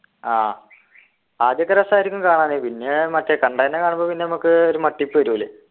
ആഹ് ആദ്യൊക്കെ രസായിരിക്കും കാണാന് പിന്നെ മറ്റേ കണ്ടതെന്നെ കാണുമ്പോ പിന്നെ നമുക്ക് ഒരു മട്ടിപ്പ് വരുലെ